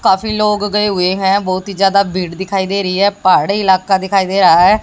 काफी लोग गए हुए हैं बहुत ही ज्यादा भीड़ दिखाई दे रही है पहाड़ी इलाका दिखाई दे रहा है।